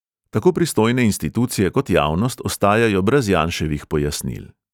Tako pristojne institucije kot javnost ostajajo brez janševih pojasnil.